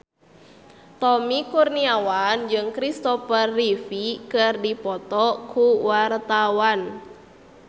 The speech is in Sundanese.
Tommy Kurniawan jeung Christopher Reeve keur dipoto ku wartawan